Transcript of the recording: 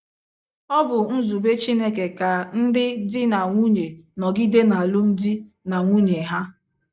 Ọ bụ nzube Chineke ka ndị di na nwunye nọgide n’alụmdi na nwunye ha.